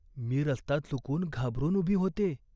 मी रस्ता चुकून घाबरून उभी होत्ये.